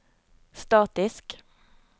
statisk